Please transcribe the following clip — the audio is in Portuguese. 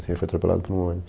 Ele foi atropelado por um ônibus.